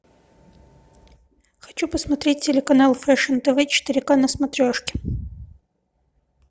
хочу посмотреть телеканал фэшн тв четыре ка на смотрешке